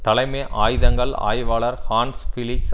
தலைமை ஆயுதங்கள் ஆய்வாளர் ஹான்ஸ் பிலிக்ஸ்